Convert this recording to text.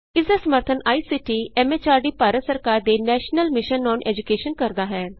ਇਸ ਦਾ ਸਮਰੱਥਨ ਆਈਸੀਟੀ ਐਮ ਐਚਆਰਡੀ ਭਾਰਤ ਸਰਕਾਰ ਦੇ ਨੈਸ਼ਨਲ ਮਿਸ਼ਨ ਅੋਨ ਏਜੂਕੈਸ਼ਨ ਕਰਦਾ ਹੈ